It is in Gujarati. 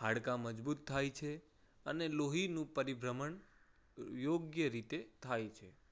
હાડકા મજબૂત થાય છે અને લોહીનું પરિભ્રમણ યોગ્ય રીતે થાય છે.